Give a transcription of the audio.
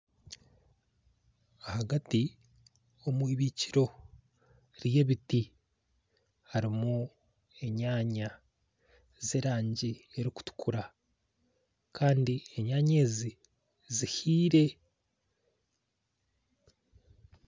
Ahagati omwibikiro ryebiti harimu enyanya zeraangi erikutukura Kandi enyanya ezi zihiire